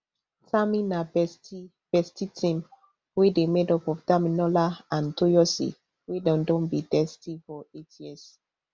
tami na bestie bestie team wey dey made up of damilola and toyosi wey don be bestie for eight years